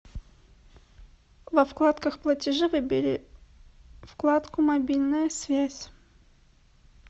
во вкладках платежи выбери вкладку мобильная связь